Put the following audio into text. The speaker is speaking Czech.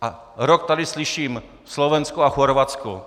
A rok tady slyším - Slovensko a Chorvatsko.